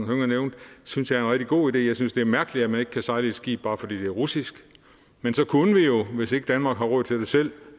hønge nævnte synes jeg er en rigtig god idé jeg synes det er mærkeligt at man ikke kan sejle skib bare fordi det russisk men så kunne vi jo hvis ikke danmark har råd til det selv